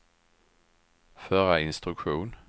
förra instruktion